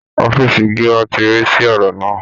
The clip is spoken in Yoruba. Ọ̀fíìsì gíwá ti rí sí ọ̀rọ̀ náà